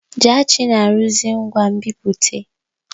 Jaachi na-arụzi ngwa nbipute.